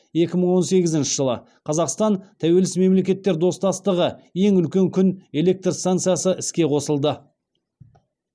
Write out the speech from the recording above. екі мың он сегізінші жылы қазақстан тәуелсіз мемлекеттер достастығы ең үлкен күн электр станциясы іске қосылды